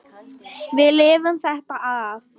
Við lifum þetta af.